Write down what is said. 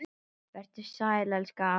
Vertu sæl elsku amma.